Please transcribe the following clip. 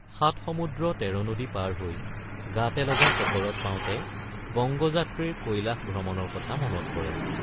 সাত সমুদ্ৰ তেৰ নদী পাৰ হৈ গাতে লগা চকৰদ পাওঁতে বঙ্গযাত্ৰীৰ কৈলাস ভ্ৰমণৰ কথা মনত পৰে।